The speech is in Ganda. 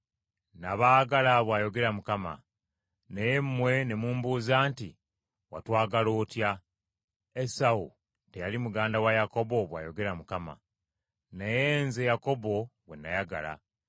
“Nabaagala,” bw’ayogera Mukama . “Naye mmwe ne mumbuuza nti, ‘Watwagala otya?’ “Esawu teyali muganda wa Yakobo?” bw’ayogera Mukama : “naye nze Yakobo gwe nayagala.